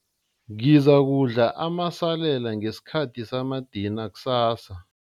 Ngizakudla amasalela ngesikhathi samadina kusasa.